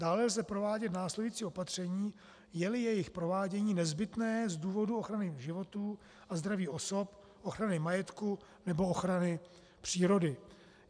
Dále lze provádět následující opatření, je-li jejich provádění nezbytné z důvodu ochrany životů a zdraví osob, ochrany majetku nebo ochrany přírody.